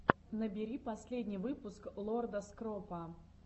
набери последний выпуск лорда скропа